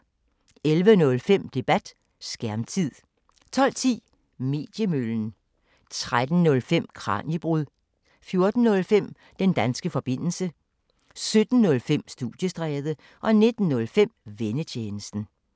11:05: Debat: Skærmtid 12:10: Mediemøllen 13:05: Kraniebrud 14:05: Den danske forbindelse 17:05: Studiestræde 19:05: Vennetjenesten